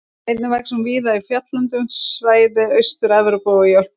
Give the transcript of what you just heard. Einnig vex hún víða í fjalllendu svæði Austur-Evrópu og í Ölpunum.